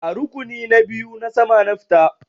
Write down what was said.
Da rukuni na biyu na sama na fita.